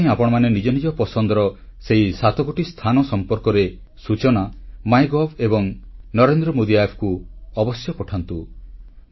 ସେଥିପାଇଁ ଆପଣମାନେ ନିଜ ନିଜ ପସନ୍ଦର ସେହି ସାତଗୋଟି ସ୍ଥାନ ସମ୍ପର୍କରେ ସୂଚନା ମାଇଗଭ୍ ଏବଂ ନରେନ୍ଦ୍ର ମୋଦି Appକୁ ଅବଶ୍ୟ ପଠାନ୍ତୁ